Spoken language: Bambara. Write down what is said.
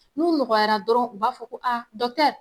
N'u mɔgɔyara dɔrɔn u b'a fɔ ko a dɔkitɛri